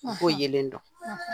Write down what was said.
yelen dɔn.